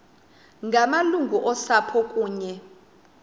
ngamalungu osapho kunye